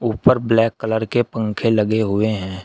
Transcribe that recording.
ऊपर black colour के पंखे लगे हुए है।